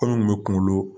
Anw kun bɛ kungolo